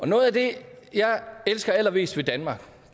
noget af det jeg elsker allermest ved danmark